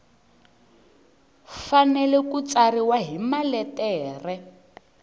fanele ku tsariwa hi maletere